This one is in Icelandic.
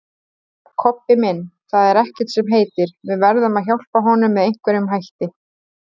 Kobbi minn, það er ekkert sem heitir, við verðum að hjálpa honum með einhverjum hætti